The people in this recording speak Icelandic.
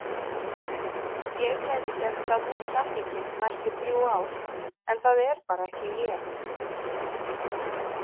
Ég gæti gert það út samninginn næstu þrjú ár en það er bara ekki ég.